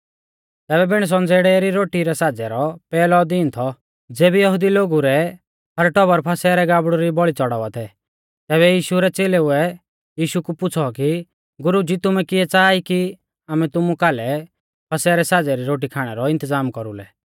तैबै बिण संज़ेड़ै री रोटी रै साज़ै रौ पैहलौ दिन थौ ज़ेबी यहुदी लोगु रै हर टौबर फसह रै गाबड़ु री बौल़ी च़ौड़ावा थै तैबै यीशु रै च़ेलेउऐ यीशु कु पुछ़ौ कि गुरुज़ी तुमै किऐ च़ाहा ई कि आमै तुमु फसह रै साज़ै री रोटी खाणै रौ इन्तज़ाम कौरुलै